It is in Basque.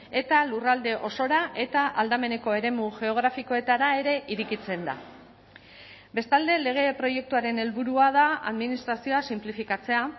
eta lurralde osora eta aldameneko eremu geografikoetara ere irekitzen da bestalde lege proiektuaren helburua da administrazioa sinplifikatzea